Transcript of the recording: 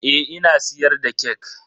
Eh ina siyar da kek.